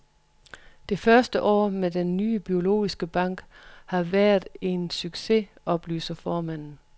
Det første år med den nye biologiske bank har været en succes, oplyser formanden.